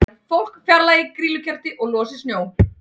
Fólk fjarlægi grýlukerti og losi snjó